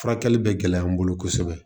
Furakɛli bɛ gɛlɛya n bolo kosɛbɛ